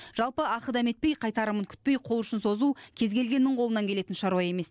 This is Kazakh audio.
жалпы ақы дәметпей қайтарымын күтпей қол ұшын созу кез келгеннің қолынан келетін шаруа емес